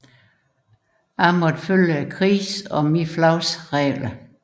Jeg måtte følge krigens og mit flags regler